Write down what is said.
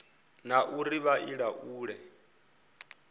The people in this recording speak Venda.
na uri vha i laule